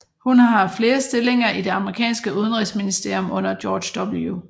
Hun har haft flere stillinger i det amerikanske udenrigsministerium under George W